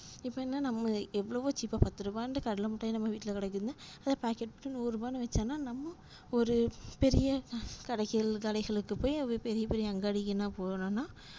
இப்ப என்ன நம்ம எவ்வளவோ cheap ஆஹ் பத்துரூவானுட்டு கடலைமிட்டாய் நம்ம வீட்டுல கிடைக்குதுனா அத pocket போட்டு நூருவானு விட்கலாமுனா நம்ம ஒரு பெரிய கடைகள் கடைகளுக்கு போய் அது பெரிய பெரிய அங்காடிக்குலாம் போனோம்னா